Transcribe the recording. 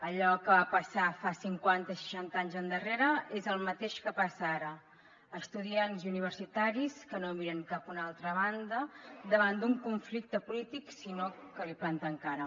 allò que va passar fa cinquanta i seixanta anys endarrere és el mateix que passa ara estudiants i universitaris que no miren cap a una altra banda davant d’un conflicte polític sinó que hi planten cara